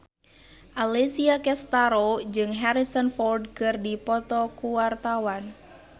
Alessia Cestaro jeung Harrison Ford keur dipoto ku wartawan